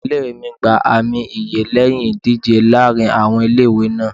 Ilé ìwée mi gba àmì ẹ̀yẹ lẹ́yìn ìdíje láàárín àwọn ilé ìwé náà.